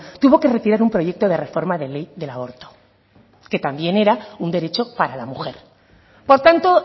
tuvo que retirar un proyecto de reforma de ley del aborto que también era un derecho para la mujer por tanto